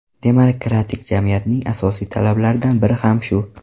Demokratik jamiyatning asosiy talablaridan biri ham shu .